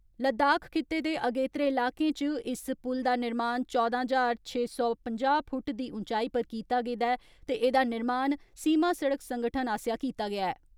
लद्दाख खित्ते दे अगेतरे इलाकें च इस पुल दा निर्माण चौदां ज्हार छे सौ पंजाह् फुट दी ऊंचाई पर कीता गेदा ऐ ते एदा निर्माण सीमा सड़क संगठन आसेया कीता गेया ऐ।